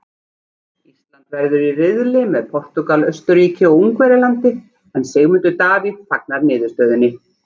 Ísland verður í riðli með Portúgal, Austurríki og Ungverjalandi en Sigmundur Davíð fagnar niðurstöðunni.